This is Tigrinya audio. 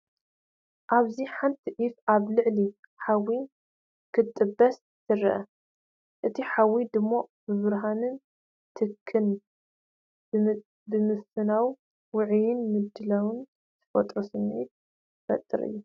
ኣብዚ ሓንቲ ዒፍ ኣብ ልዕሊ ሓዊ ክትጥበስ ትርአ። እቲ ሓዊ ድሙቕ ብርሃንን ትክን ብምፍናው ውዑይን ምድላውን ዝፈጥር ስምዒት ይፈጥር እዩ።